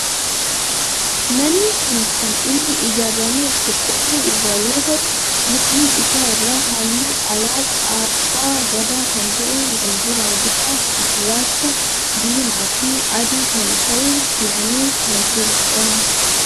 Manni kun kan inni ijaaarame qorqoorroo irraa yoo ta'u mudhii isaa irraa halluu alaabaa abbaa Gadaa kan ta'e wal duraa duuba gurraacha, diimaa fi adii kan ta'e dibamee kan jirudha.